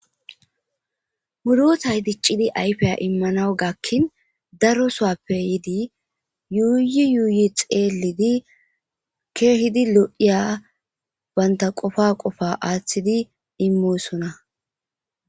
Murotay diccidi ayfiya immanawu gakkin daro sowappe yidi yuuyi yuuyi xeelidi keehidi lo'iya banta qofa qofa aaththidi immosona